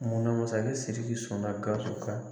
Munna masakɛ Siriki sɔnna Gawusu ka